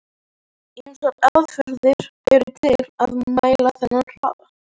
Ýmsar aðferðir eru til að mæla þennan hraða.